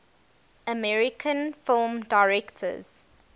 american film directors